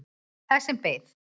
Það sem beið.